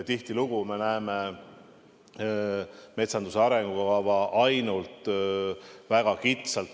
Tihtilugu me näeme metsanduse arengukava ainult väga kitsalt.